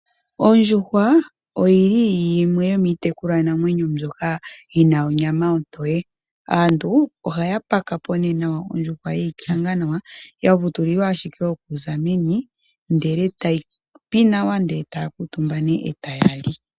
Ondjuhwa oyili yimwe yomiitekulwa namwenyo mbyoka yina onyama ontoye. Aantu ohaya paka po nee ondjuhwa yeyi kanga nawa, ya vutulilwa ashike, oku za meni, ndele tayi pi nawa, ndele e taya kuutumba nee, e taya li.